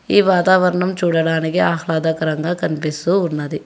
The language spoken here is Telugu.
ఈ వాతావరణం చూడడానికి ఆహ్లాదకరంగా కనిపిస్తూ ఉన్నది.